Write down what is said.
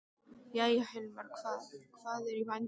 Jæja, Hilmar, hvað, hvað er í vændum?